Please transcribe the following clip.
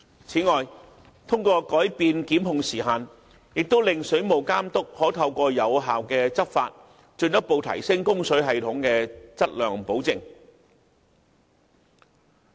此外，藉着改變檢控時限，令水務監督可透過有效執法，進一步提升供水系統的質量保證。